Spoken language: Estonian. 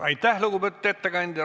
Aitäh, lugupeetud ettekandja!